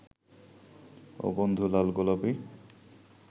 ও বন্ধু লাল গোলাপী